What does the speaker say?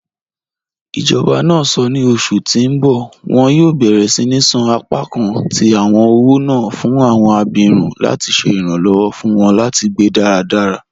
Ijọba náà sọ́ ní ọṣù tí n bọ wọn yóò bẹ̀rẹ̀ síni ṣan apakàn tí awọn ọwọ́ náà fún awọn àbírún láti ṣè iranlọwọ fún wọn láti gbẹ́ daradara.